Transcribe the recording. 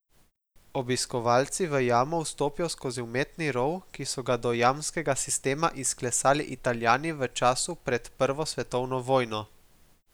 Obiskovalci v jamo vstopijo skozi umetni rov, ki so ga do jamskega sistema izklesali Italijani v času pred prvo svetovno vojno.